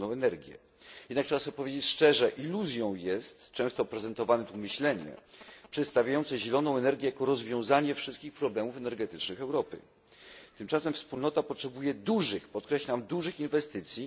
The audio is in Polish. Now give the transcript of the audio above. zieloną energię. Jednak trzeba sobie powiedzieć szczerze iluzją jest często prezentowane tu myślenie, przedstawiające zieloną energię jako rozwiązanie wszystkich problemów energetycznych Europy. Tymczasem Wspólnota potrzebuje dużych, podkreślam dużych, inwestycji.